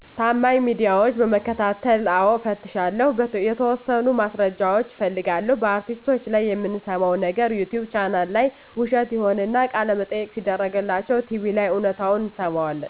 ታማኝ ሚዲያዎች በመከታተል። አዎ እፈትሻለሁ። የተወሠኑ ማስረጃዎች እፈልጋለሁ። በአርቲስቶች ላይ የምንሠማው ነገር ዩቲቭ ቻናል ላይ ውሸት ይሆንና፤ ቃለመጠየቅ ሲደረግላቸው ቲቪ ላይ እውነታውን እንሠማዋለን።